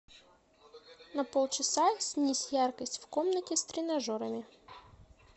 на полчаса снизь яркость в комнате с тренажерами